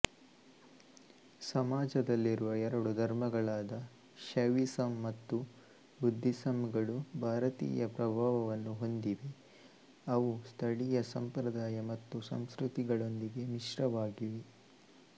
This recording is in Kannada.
ಸಮಾಜದಲ್ಲಿರುವ ಎರಡು ಧರ್ಮಗಳಾದ ಶೈವಿಸಂ ಮತ್ತು ಬುದ್ಧಿಸಂಗಳು ಭಾರತೀಯ ಪ್ರಭಾವವನ್ನು ಹೊಂದಿವೆ ಅವು ಸ್ಥಳೀಯ ಸಂಪ್ರದಾಯ ಮತ್ತು ಸಂಸ್ಕೃತಿಗಳೊಂದಿಗೆ ಮಿಶ್ರವಾಗಿವೆ